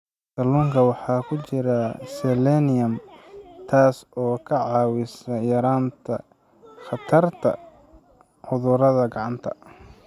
Kalluunka waxaa ku jira selenium, taas oo ka caawisa yaraynta khatarta cudurada gacanta.